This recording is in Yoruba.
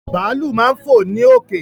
Bàálù máa ń fò ní òkè